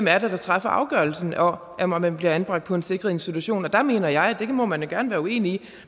er der træffer afgørelsen om at man bliver anbragt på en sikret institution og der mener jeg og det må man da gerne være uenig